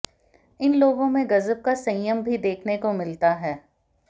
इन लोगों में गजब का संयम भी देखने को मिलता है